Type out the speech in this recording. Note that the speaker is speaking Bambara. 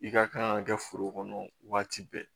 I ka kan ka kɛ foro kɔnɔ waati bɛɛ